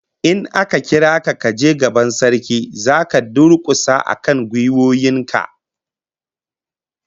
In aka kira ka kaje gaban Sarki, zaka durkusa akan gwiwoyin ka